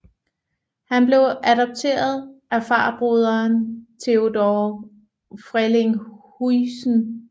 Han blev adopteret af farbroderen Theodore Frelinghuysen